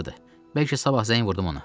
Bəlkə sabah zəng vurdum ona.